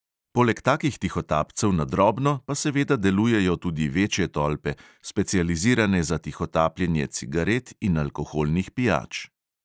Poleg takih tihotapcev na drobno pa seveda delujejo tudi večje tolpe, specializirane za tihotapljenje cigaret in alkoholnih pijač.